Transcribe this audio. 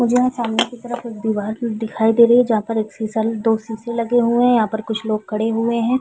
मुझे यहाँ सामने की तरफ कुछ दीवार दिखाई दे रही है जहाँ पर एक शीशा दो शीशे लगे हुए है यहाँ पर कुछ लोग खड़े हुए है।